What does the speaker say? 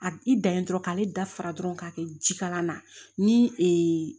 A i dan ye dɔrɔn k'ale dafa dɔrɔn k'a kɛ ji kala na ni ee